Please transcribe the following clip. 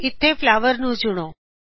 ਇਥੋ flower flower ਨੂੰ ਚੁਣੋ